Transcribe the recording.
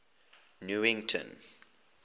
newington